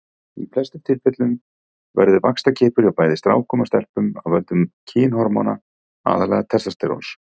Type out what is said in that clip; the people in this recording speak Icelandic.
Í flestum tilvikum verður vaxtarkippur hjá bæði strákum og stelpum af völdum kynhormóna, aðallega testósteróns.